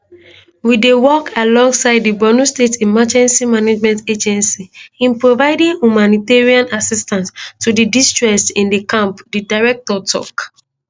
we dey work alongside di borno state emergency management agency in providing humanitarian assistance to di distressed in di camp di director tok